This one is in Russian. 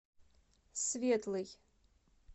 светлый